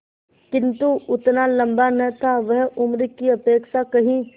किंतु उतना लंबा न था वह उम्र की अपेक्षा कहीं